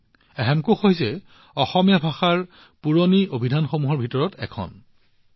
হেমকোষ হৈছে অসমীয়া ভাষাৰ আটাইতকৈ পুৰণি অভিধানসমূহৰ ভিতৰত অন্যতম